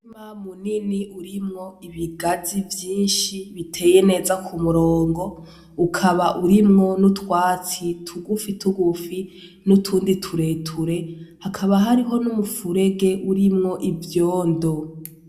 Umurima munini urimwo ibigazi vyinshi biteye neza k'umurongo ukaba urimwo n'utwatsi tugufi tugufi, nutundi tureture. Hakaba hariho n'umufurege urimwo ivyondo.